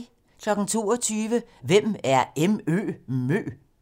22:00: Hvem er MØ?